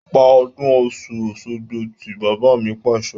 Pa ọdún Ọ̀sun-Osogbo tí! Bàbá mi Pàṣẹ.